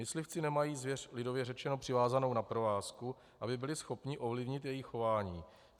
Myslivci nemají zvěř, lidově řečeno, přivázanou na provázku, aby byli schopni ovlivnit její chování.